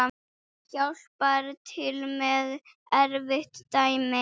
Hjálpar til með erfið dæmi.